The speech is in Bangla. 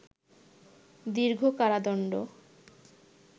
দীর্ঘ কারাদণ্ড